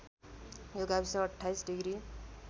यो गाविस २८ डिग्री